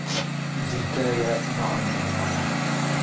Jirkaaga ma cuncuna?